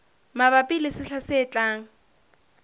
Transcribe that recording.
mabapi le sehla se tlang